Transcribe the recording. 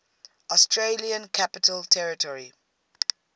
australian capital territory